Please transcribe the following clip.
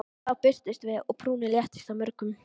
Þá birtumst við og brúnin léttist á mörgum.